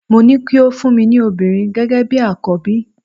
Mo ní o kí o fún mi ní obìnrin gẹ́gẹ́ bi àkọ́bí.